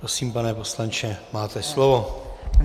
Prosím, pane poslanče, máte slovo.